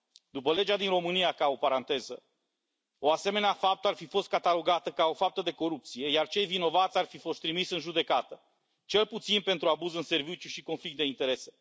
După legea din România, ca o paranteză, o asemenea faptă ar fi fost catalogată ca o faptă de corupție, iar cei vinovați ar fi fost trimiși în judecată, cel puțin pentru abuz în serviciu și conflict de interese.